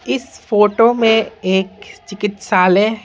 इस फोटो में एक चिकित्साले --